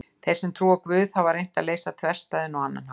Þeir sem trúa á Guð hafa reynt að leysa þverstæðuna á annan hátt.